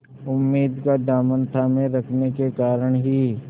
उम्मीद का दामन थामे रखने के कारण ही